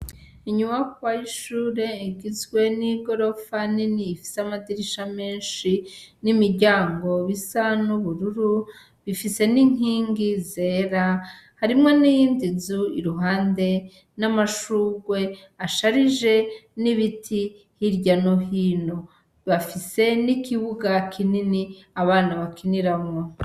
Inyubakwa y'ishure igizwe n'igirofa nini ifise amadirisha menshi n 'imiryango isa n'ubururu ifise n'inkingi zera harimwo n'iyindi nzu iruhande n'amashurwe asharije , n'ibiti hirya no hino ,bafise n'ikibuga kinini abana bakiniramwo.